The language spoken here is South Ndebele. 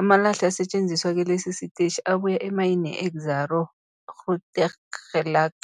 Amalahle asetjenziswa kilesi sitetjhi abuya emayini yeExxaro's Grootegeluk.